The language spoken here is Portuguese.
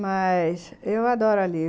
Mas... eu adoro ali.